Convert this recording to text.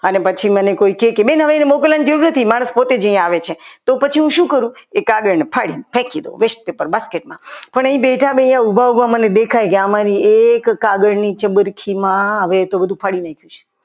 અને પછી મને કોઈ કહે કે બેન તમે તમારે મોકલવાની જરૂર નથી મારે પોતે જ અહીંયા આવે છે પછી હું શું કરું એ કાગળને ફાડીને ફેંકી દઉં west paper basket માં પણ એ બેઠા બેઠા ઉભા ઉભા દેખાય કે આમાં એક કાગળની ચબરખીમાં હવે એ તો બધું ફાડી નાખ્યું છે.